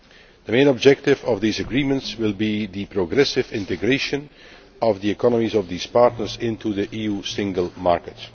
The main objective of these agreements will be the progressive integration of the economies of these partners into the EU single market.